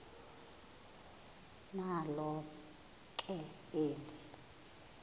nalo ke eli